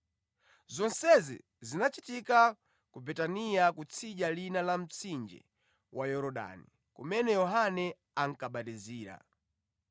Zonsezi zinachitika ku Betaniya kutsidya lina la mtsinje wa Yorodani, kumene Yohane ankabatizira.